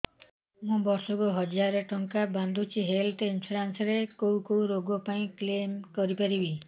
ମୁଁ ବର୍ଷ କୁ ହଜାର ଟଙ୍କା ବାନ୍ଧୁଛି ହେଲ୍ଥ ଇନ୍ସୁରାନ୍ସ ରେ କୋଉ କୋଉ ରୋଗ ପାଇଁ କ୍ଳେମ କରିପାରିବି